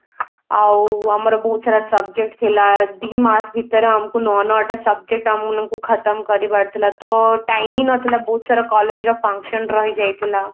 ଆଉ ଆମର ବହୁତ ସାରା subject ଥିଲା ଦିମାସ ଭିତରେ ଆମକୁ ନ ନ ଟା subject ଆମ ମାନଙ୍କୁ ଖତମ କରିବାର ଥିଲା ତ time ହିଁ ନଥିଲା ବହୁତ ସାରା collage ର function ରହି ଯାଇଥିଲା